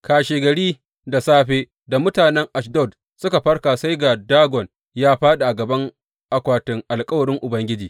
Kashegari da safe da mutanen Ashdod suka farka sai ga Dagon ya fāɗi a gaban akwatin alkawarin Ubangiji.